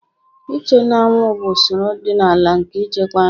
Iche n'anwụ bụ usoro ọdịnala nke ichekwa nri.